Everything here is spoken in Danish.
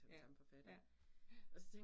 Ja ja ja